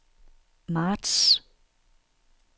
marts